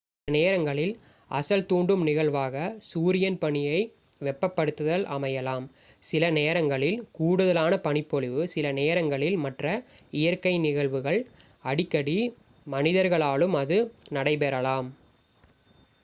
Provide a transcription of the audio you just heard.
சில நேரங்களில் அசல் தூண்டும் நிகழ்வாக சூரியன் பனியை வெப்பப்படுத்துதல் அமையலாம் சில நேரங்களில் கூடுதலான பனிப்பொழிவு சில நேரங்களில் மற்ற இயற்கை நிகழ்வுகள் அடிக்கடி மனிதர்களாலும் அது நடைபெறலாம்